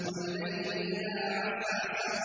وَاللَّيْلِ إِذَا عَسْعَسَ